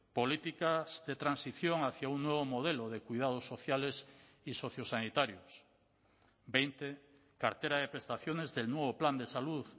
políticas de transición hacia un nuevo modelo de cuidados sociales y sociosanitarios veinte cartera de prestaciones del nuevo plan de salud